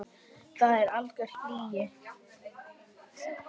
Það er algjör lygi.